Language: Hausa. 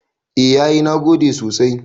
A yayi nagode sosai